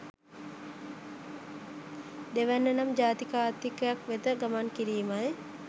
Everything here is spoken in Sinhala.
දෙවැන්න නම් ජාතික ආර්ථිකයක් වෙත ගමන් කිරීමයි.